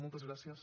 moltes gràcies